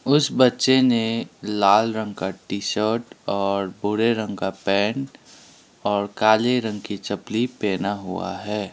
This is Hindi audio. उस बच्चे ने लाल रंग का टी शर्ट और भूरे रंग का पैंट और काले रंग की चपलि पहना हुआ है।